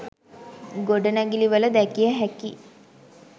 ගොඩනැගිලිවල දැකිය හැකි